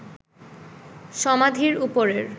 সমাধির ওপরের